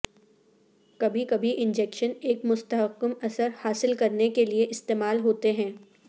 کبھی کبھی انجیکشن ایک مستحکم اثر حاصل کرنے کے لئے استعمال ہوتے ہیں